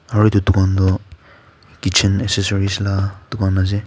aro etu dukan toh kitchen accessories la ka dukan ase.